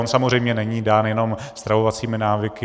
On samozřejmě není dán jenom stravovacími návyky.